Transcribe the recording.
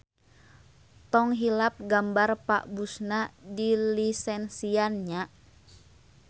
Tong hilap gambar Pa Bush-na dilisensian nya.